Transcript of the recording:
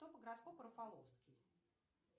кто по гороскопу рафаловский